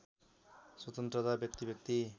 स्वतन्त्रता व्यक्तिव्यक्ति